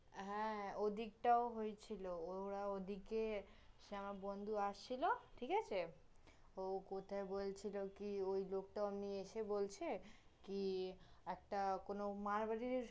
হ্যাঁ, ওইদিক টায় হয়েছিল, ওরা ওইদিকে, সে আমার বন্ধু আসছিল, ঠিক আছে? ও কোথায় বলছিল কি, ওই লোকটা ওমনি এসে বলছে, কি, একটা কোন মারোয়াড়ির